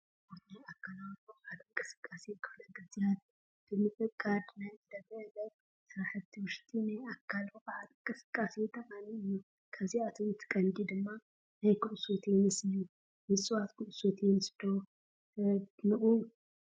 ስፖርት፣ ናይ ኣካላዊ ብቕዓት እንቅስቃሴ ክፍለ ጊዝያት ብምዕቃድ ናይ ዕለት ዕለት ስራሕቲ ውሽጢ ናይ ኣካል ብቕዓት እንቅስቃሴ ጠቓሚ አዩ፡፡ ካብኣቶም እቲ ቀንዲ ድማ ናይ ኩዕሶ ቴንስ እዩ፡፡ ምፅዋት ኩዕሶ ቴንስ ዶ ተድንቑ?